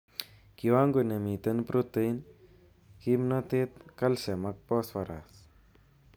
Kiwango nemiten protein, kimnotet, calcium ak phosphorus.